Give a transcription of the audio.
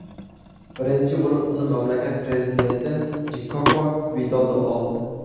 Birinchi bo‘lib uni mamlakat prezidenti Jkoko Vidodo oldi.